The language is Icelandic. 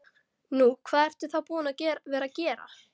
Nú, hvað ertu þá búinn að vera að gera?